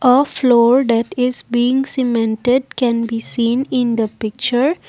A floor that is being cemented can be seen in the picture